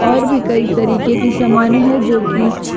और भी कई तरीके की सामने है जोकि--